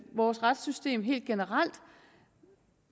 vores retssystem helt generelt